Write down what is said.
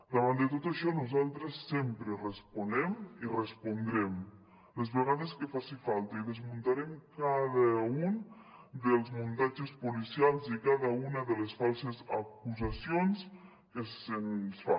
davant de tot això nosaltres sempre responem i respondrem les vegades que faci falta i desmuntarem cada un dels muntatges policials i cada una de les falses acusacions que se’ns fa